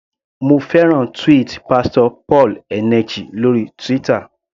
Mo fẹ́ràn tweet Pastor Paul Eneche lórí Twitter.